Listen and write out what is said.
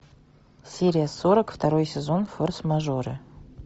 серия сорок второй сезон форс мажоры